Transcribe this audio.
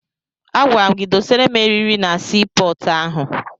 Agwara gị dọsara m erịrị na sii pọọtụ ahụ!